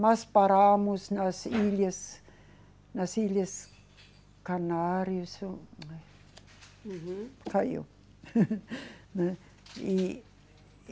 Mas paramos nas ilhas, nas ilhas Canários. Uhum. Caiu, né. E, e